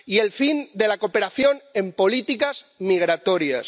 y el fin de la cooperación en políticas migratorias.